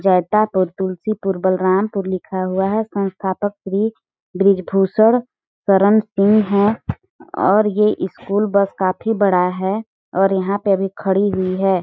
जैतापुर तुलसीपुर बलरामपुर लिखा हुआ है संस्थापक श्री ब्रीजभूषण सरण सिंह है और ये स्कूल बस काफ़ी बड़ा है और यहाँ पे अभी खड़ी हुई हैं।